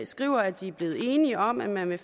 skriver at de er blevet enige om at man i